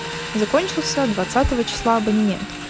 закончился двадцатого числа абонемент